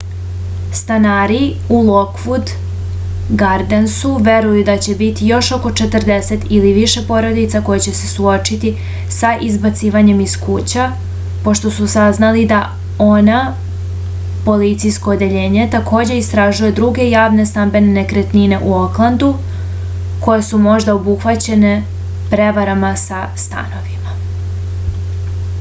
stanari u lokvud gardensu veruju da će biti još oko 40 ili više porodica koje će se suočiti sa izbacivanjem iz kuća pošto su saznali da oha policijsko odeljenje takođe istražuje druge javne stambene nekretnine u oklandu koje su možda obuhvaćene prevarama sa stanovima